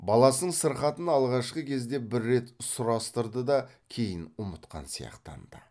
баласының сырқатын алғашқы кезде бір рет сұрастырды да кейін ұмытқан сияқтанды